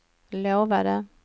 lovade